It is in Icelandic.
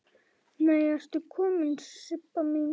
Nei ertu komin Sibba mín!